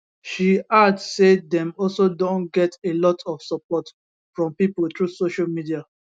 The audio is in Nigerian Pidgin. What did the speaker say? she add say dem also don get a lot of support from pipo through social media